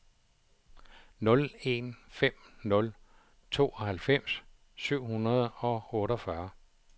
nul en fem nul tooghalvfems syv hundrede og otteogfyrre